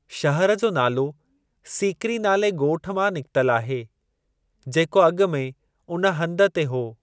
शहर जो नालो सीकरी नाले ॻोठ मां निकितल आहे, जेको अॻु में उन हंधु ते हो।